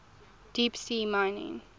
deep sea mining